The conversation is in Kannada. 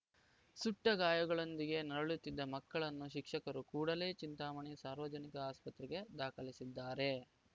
ಸುಟ್ಟಗಾಯಗಳೊಂದಿಗೆ ನರಳುತ್ತಿದ್ದ ಮಕ್ಕಳನ್ನು ಶಿಕ್ಷಕರು ಕೂಡಲೇ ಚಿಂತಾಮಣಿ ಸಾರ್ವಜನಿಕ ಆಸ್ಪತ್ರೆಗೆ ದಾಖಲಿಸಿದ್ದಾರೆ